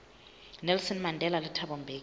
nelson mandela le thabo mbeki